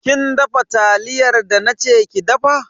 Kin dafa taliyar da na ce ki dafa?